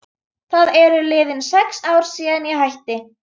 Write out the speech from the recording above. Það eru liðin sex ár síðan ég hætti.